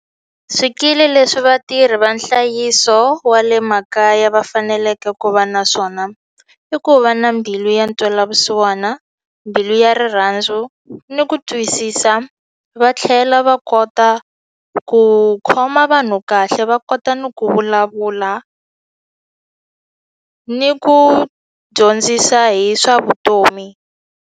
Swikili leswi vatirhi va nhlayiso wa le makaya va faneleke ku va na swona i ku va na mbilu ya ntwelavusiwana mbilu ya rirhandzu ni ku twisisa va tlhela va kota ku khoma vanhu kahle va kota ni ku vulavula ni ku dyondzisa hi swa vutomi.